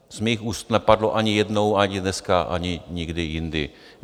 Z mých úst nepadlo ani jednou, ani dneska, ani nikdy jindy.